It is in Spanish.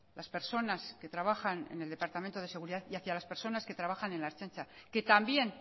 las personas que trabajan en el departamento de seguridad y hacia las persona que trabajan en la ertzaintza que también